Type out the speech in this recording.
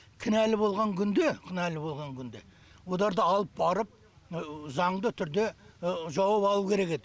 кінәлі болған күнде кінәлі болған күнде одарды алып барып заңды түрде жауып алу керек еді